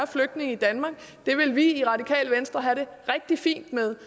flygtninge i danmark det vil vi i radikale venstre have det rigtig fint med